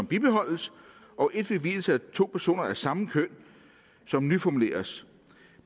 bibeholdes og et ved vielse af to personer af samme køn som nyformuleres